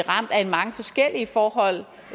mange forskellige forhold